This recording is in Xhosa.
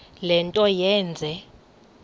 le nto yenze